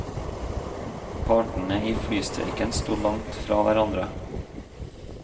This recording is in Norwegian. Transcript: Partene i flystreiken sto langt fra hverandre.